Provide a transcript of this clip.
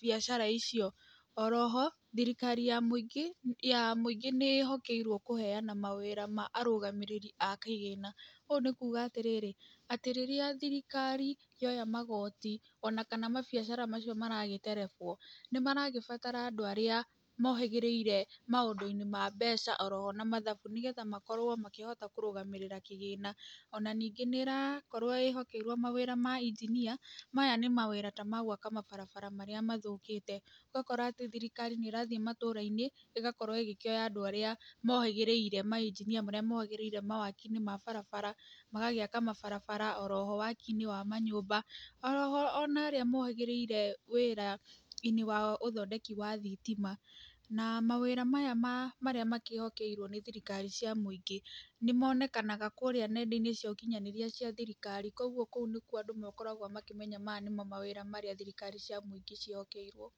biacara icio, oroho thirikari ya mwĩingĩ ya mwĩingĩ nĩĩhokerwo kũheana mawĩra ma arũgamĩrĩri akĩgĩna, ũũ nĩ kuga atĩrĩrĩ, atĩ rĩrĩa thirikari yoya magoti, onakana mabiacara macio maragĩterebwo, nĩ maragĩbatara andũ arĩa mohĩgĩrĩire maũndũ-inĩ ma mbeca oroho na mathabu, nĩgetha makorwo makĩhota kũrũgamĩrĩra kĩgĩna, ona nĩngĩ nĩ ĩrakorwo ĩhokeirwo mawĩra ma injinia, maya nĩ mawĩra tamagwaka mabarabara marĩa mathũkĩte, ũgakora atĩ thirikari nĩ ĩrathiĩ matũra-inĩ, ĩgakorwo ĩkĩoya andũ arĩa mohĩgĩrĩire, mainjinia marĩa mohĩgĩrĩire mawaki-inĩ ma barabara, oroho waki-inĩ wa manyũmba, oroho onarĩa mohĩgĩrire wĩra-inĩ wa ũthondeki wa thitima, na mawĩra maya ma marĩa makĩhokerwo nĩ thirikari cia mwĩingĩ nĩmonekanaga kũrĩa nenda-inĩ cia ũkinyanĩria cia thirikari, koguo kũu nĩkuo andũ makoragwo makĩmenya maya nĩmo mawĩra marĩa thirikari cia mũingĩ ciĩhokeirwo.